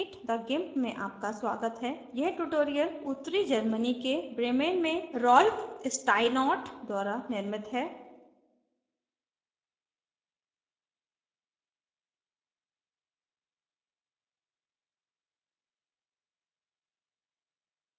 meet the gimp में आपका स्वागत है यह ट्यूटोरियल उत्तरी germany के bremen में rolf steinort द्वारा निर्मित है